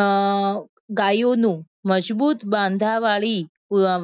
અમ ગાયોનું મજબૂત બાંધાવાળી